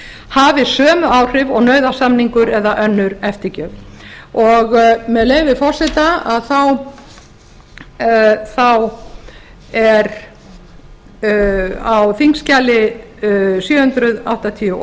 hafi sömu áhrif og nauðasamningur eða önnur eftirgjöf og með leyfi forseta að þá er á þingskjali sjö hundruð áttatíu og